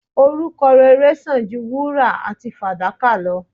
Orúkọ rere san ju wúrà àti fàdákà lo